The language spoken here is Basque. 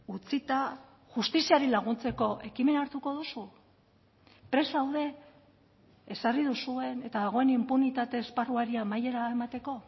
utzita justiziari laguntzeko ekimena hartuko duzu prest zaude ezarri duzuen eta dagoen inpunitate esparruari amaiera emateko